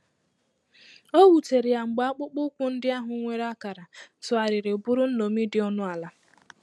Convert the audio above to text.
O wutere ya mgbe akpụkpọ ụkwụ ndị ahụ nwere akara tụgharịrị bụrụ nnomi dị ọnụ ala.